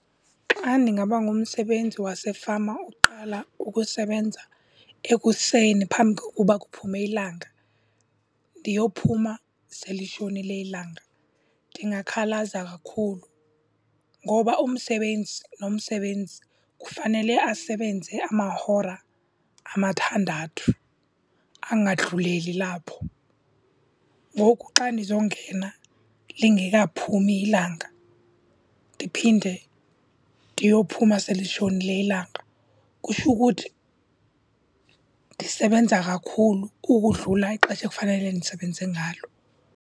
Xa ndingaba ngumsebenzi wasefama oqala ukusebenza ekuseni phambi kokuba kuphume ilanga ndiyophuma sele litshonile ilanga, ndingakhalaza kakhulu. Ngoba umsebenzi nomsebenzi kufanele asebenze amahora amathandathu, angadluleli lapho. Ngoku xa ndizongena lingekaphumi ilanga ndiphinde ndiyophuma selitshonile ilanga, kutsho ukuthi ndisebenza kakhulu ukudlula ixesha ekufanele ndisebenze ngalo.